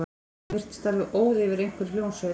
Hún virtist alveg óð yfir einhverri hljómsveit.